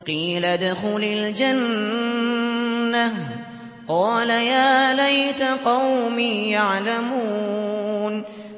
قِيلَ ادْخُلِ الْجَنَّةَ ۖ قَالَ يَا لَيْتَ قَوْمِي يَعْلَمُونَ